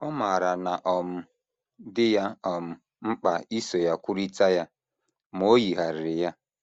Ọ maara na ọ um dị ya um mkpa iso ya kwurịta ya, ma o yigharịrị ya.